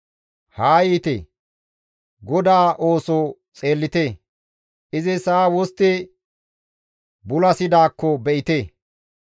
Haa yiite; GODAA ooso xeellite; izi sa7a wostti bulasidaakko be7ite.